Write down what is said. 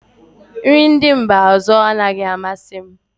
Nri ndị mba ọzọ anaghị amasị m